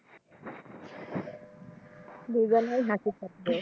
দুই জনেই হাসির পাত্র